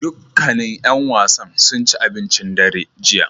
Dukkanin ƴan wasan sun ci abincin dare jiya